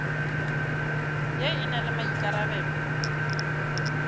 ye e na le maikarabelo